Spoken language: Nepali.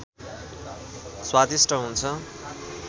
स्वादिष्ट हुन्छ